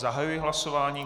Zahajuji hlasování.